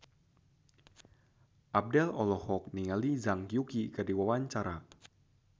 Abdel olohok ningali Zhang Yuqi keur diwawancara